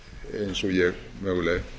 eins og ég mögulega